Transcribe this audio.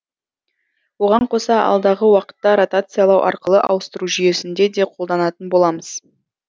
оған қоса алдағы уақытта ротациялау арқылы ауыстыру жүйесінде де қолданатын боламыз